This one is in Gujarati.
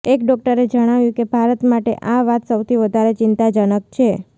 એક ડોક્ટરે જણાવ્યું કે ભારત માટે આ વાત સૌથી વધારે ચિંતાજનક છે